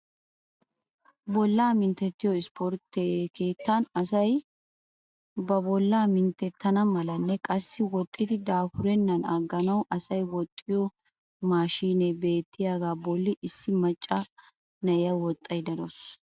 Bollaa mintettiyoo isportte keettan asay ba bollaa minttetana malanne qassi woxidi dapurenan aganawu asay woxxiyoo maashinee beettiyaagaa bolli issi macca na'iyaa woxxayda de'awus.